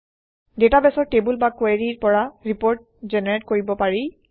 ডাটাবেছৰ টেবুল বা কুৱেৰিৰ পৰা ৰিপৰ্ট জেনেৰেট কৰিব পাৰি